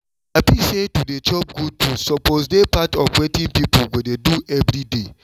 i feel say to dey chop good food suppose dey part of wetin people go dey do every day